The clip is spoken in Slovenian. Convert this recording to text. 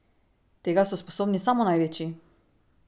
Tega so sposobni samo največji!